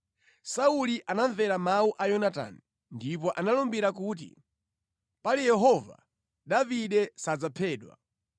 Sauli anamvera mawu a Yonatani ndipo analumbira kuti, “Pali Yehova, Davide sadzaphedwa.”